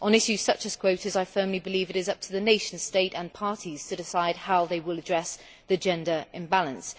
On issues such as quotas I firmly believe it is up to the nation state and national parties to decide how they will address the gender imbalance.